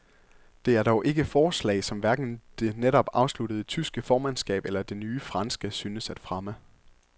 Det er dog ikke forslag, som hverken det netop afsluttede tyske formandskab eller det nye franske synes at fremme.